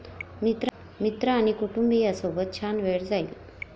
मित्र आणि कुटुंबीयांसोबत छान वेळ जाईल.